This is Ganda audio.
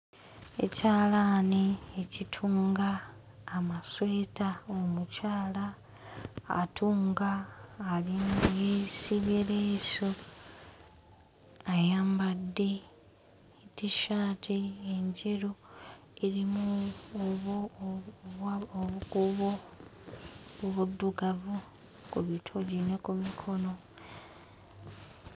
Ekyalaani ekitunga amasweta omukyala atunga ali yeesibye leesu ayambadde tishaati enjeru erimu obukuubo obwa obukuubo buddugavu ku kitongo ne ku mikono.